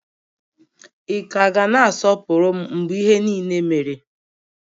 Ị ka ga na-asọpụrụ m mgbe ihe niile mere?